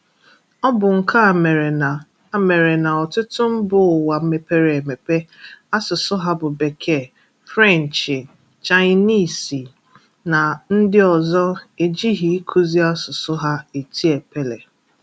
Ọ bụ nke a mere na a mere na ọtụtụ mba ụwa mepere emepe asụsụ ha bụ Bekee, Fụrenchị, Chaịniizi na ndị ọzọ ejighi ikuzi asụsụ ha eti epele.